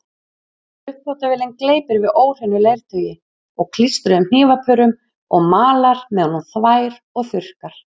Uppþvottavélin gleypir við óhreinu leirtaui og klístruðum hnífapörum og malar meðan hún þvær og þurrkar.